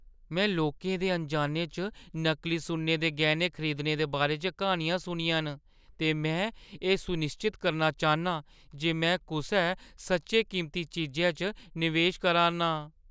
में लोकें दे अनजाने च नकली सुन्ने दे गैह्‌ने खरीदने दे बारे च क्हानियां सुनियां न, ते में एह् सुनिश्चत करना चाह्‌न्नां जे में कुसै सच्चेें कीमती चीजै च निवेश करा’रना आं।